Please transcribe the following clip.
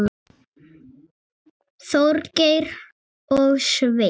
Þorgeir og Sveinn.